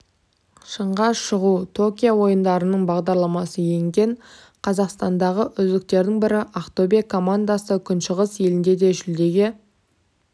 шыңға шығу токио ойындарының бағдарламасына енген қазақстандағы үздіктердің бірі ақтөбе командасы күншығыс елінде де жүлдеге